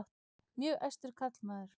Mjög æstur karlmaður.